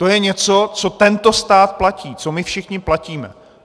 To je něco, co tento stát platí, co my všichni platíme.